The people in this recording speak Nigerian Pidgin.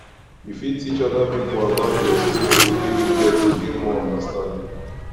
you fit teach oda pipo about di experience wey you get to gain more understanding